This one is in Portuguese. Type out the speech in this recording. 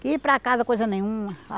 Que ir para casa coisa nenhuma.